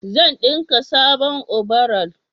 zan dinka sabon obaral